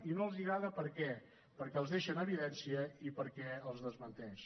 i no els agrada per què perquè els deixa en evidència i perquè els desmenteix